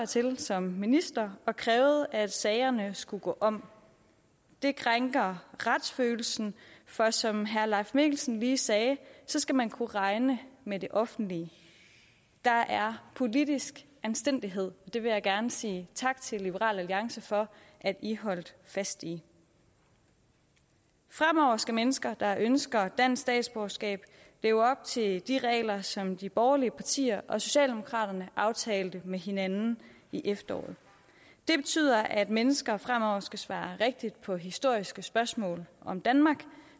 til som minister og krævede at sagerne skulle gå om det krænker retsfølelsen for som herre leif mikkelsen lige sagde så skal man kunne regne med det offentlige der er politisk anstændighed og det vil jeg gerne sige tak til liberal alliance for at i holdt fast i fremover skal mennesker der ønsker dansk statsborgerskab leve op til de regler som de borgerlige partier og socialdemokraterne aftalte med hinanden i efteråret det betyder at mennesker fremover skal svare rigtigt på historiske spørgsmål om danmark